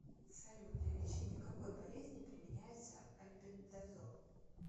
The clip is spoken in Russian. салют для лечения какой болезни применяется альбендазол